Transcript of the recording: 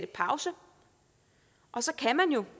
pause og så kan man jo